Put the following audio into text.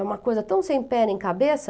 É uma coisa tão sem pé nem cabeça...